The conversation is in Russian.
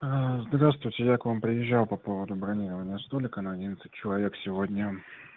здравствуйте я к вам приезжал по поводу бронирования столика на одиннадцать человек сегодня